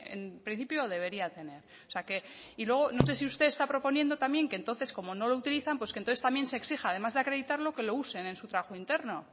en principio debería tener o sea que y luego no sé si usted está proponiendo también que entonces como no lo utilizan pues que entonces también se exija además de acreditarlo que lo usen en su trabajo interno o